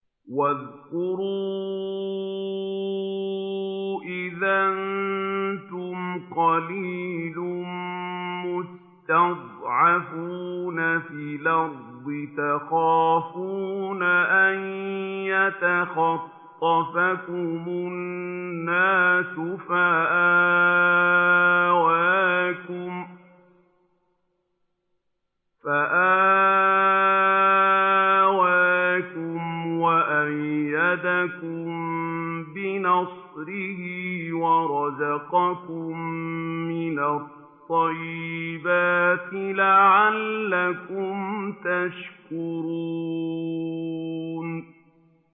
وَاذْكُرُوا إِذْ أَنتُمْ قَلِيلٌ مُّسْتَضْعَفُونَ فِي الْأَرْضِ تَخَافُونَ أَن يَتَخَطَّفَكُمُ النَّاسُ فَآوَاكُمْ وَأَيَّدَكُم بِنَصْرِهِ وَرَزَقَكُم مِّنَ الطَّيِّبَاتِ لَعَلَّكُمْ تَشْكُرُونَ